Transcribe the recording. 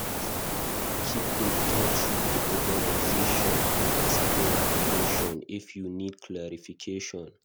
Keep in touch with the organisation and ask dem question if you need clarification